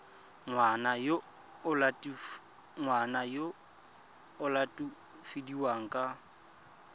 ngwana yo o latofadiwang ka